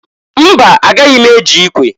Mba! Agaghị m eji ikwe.